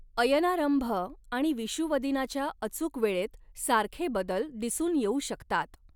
अयनारंभ आणि विषुवदिनाच्या अचूक वेळेत सारखे बदल दिसून येऊ शकतात.